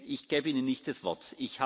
Ich gebe Ihnen nicht das Wort.